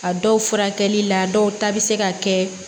A dɔw furakɛli la dɔw ta be se ka kɛ